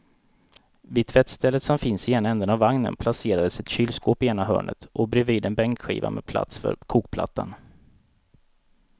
Vid tvättstället som finns i ena ändan av vagnen placerades ett kylskåp i ena hörnet och bredvid en bänkskiva med plats för kokplattan.